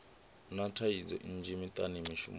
na thaidzo nnzhi miṱani mishumoni